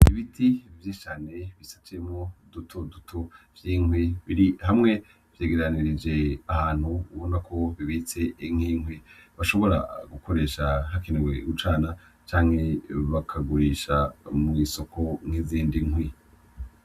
Ibiti vyinshi cane bisatuyemwo duto duto vyinkwi biri hamwe vyegeranirije ahantu ubona ko bibitse inkwi bashobora gukoresha hakenewe gucanwa canke bakagurisha mu isoko nkizindi nkwi.